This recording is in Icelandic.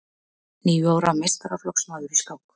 Níu ára meistaraflokksmaður í skák